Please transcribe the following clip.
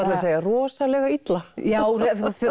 segja rosalega illa já